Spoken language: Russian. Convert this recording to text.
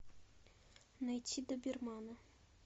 найти добермана